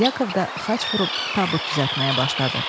Yakov da xaç vurub tabut düzəltməyə başladı.